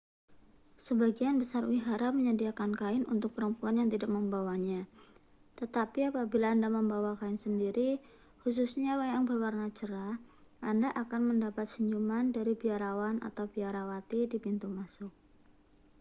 sebagian besar wihara menyediakan kain untuk perempuan yang tidak membawanya tetapi apabila anda membawa kain sendiri khususnya yang berwarna cerah anda akan mendapat senyuman dari biarawan atau biarawati di pintu masuk